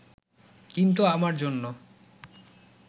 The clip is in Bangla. কিন্তু আমার জন্য